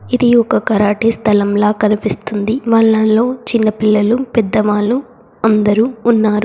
ఇది ఒక కరాటే స్థలంలా కనిపిస్తుంది వాళ్ళల్లో చిన్న పిల్లలు పెద్దవాళ్లు అందరూ ఉన్నారు.